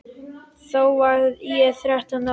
Þá var ég þrettán ára.